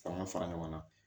F'an ga fara ɲɔgɔn na